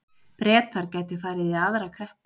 Bretar gætu farið í aðra kreppu